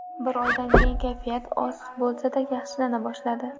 Bir oydan keyin kayfiyati oz bo‘lsada yaxshilana boshladi.